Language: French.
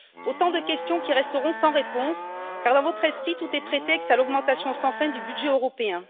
Ce sont là autant de questions qui resteront sans réponse car, dans votre esprit, tout est prétexte à l'augmentation sans fin du budget européen.